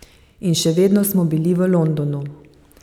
In še vedno smo bili v Londonu.